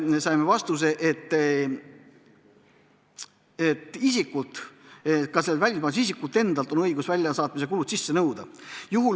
Saime vastuse, et ka konkreetselt välismaalaselt võib väljasaatmiskulud sisse nõuda.